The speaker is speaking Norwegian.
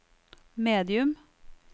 medium